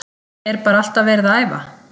Er bara alltaf verið að æfa?